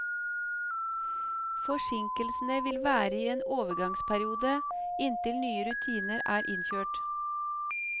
Forsinkelsene vil være i en overgangsperiode, inntil nye rutiner er innkjørt.